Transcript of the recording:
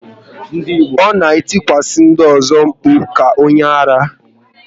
Ọ na etikwasa ndị ọzọ mkpu ka onye ara